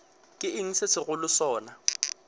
ke eng se segolo sona